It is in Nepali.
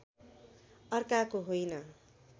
अर्काको होइन